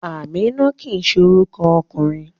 Amina kii se oruko okunrin